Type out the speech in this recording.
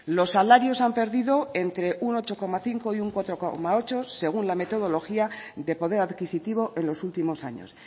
los salarios han perdido entre un ocho coma cinco y un cuatro coma ocho según la metodología de poder adquisitivo en los últimos años